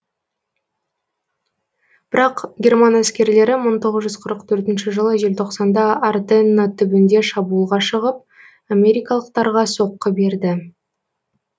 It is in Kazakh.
бірақ герман әскерлері мың тоғыз жүз қырық төртінші жылы желтоқсанда арденна түбінде шабуылға шығып америкалықтарға соқкы берді